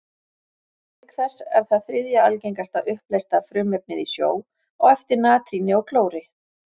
Auk þess er það þriðja algengasta uppleysta frumefnið í sjó, á eftir natríni og klóri.